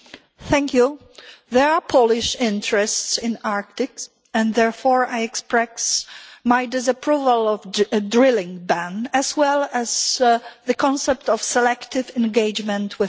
Madam President, there are Polish interests in the Arctic and therefore I express my disapproval of a drilling ban as well as the concept of selective engagement with Russia.